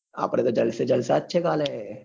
આપડે તો જલસે જલસા જ છે કાલે.